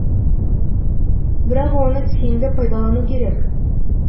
бірақ оны тиімді пайдалану керек